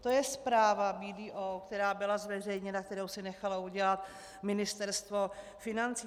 To je zpráva BDO, která byla zveřejněna, kterou si nechalo udělat Ministerstvo financí.